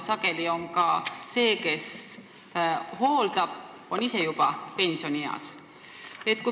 Sageli on ka see, kes hooldab, ise juba pensionieas.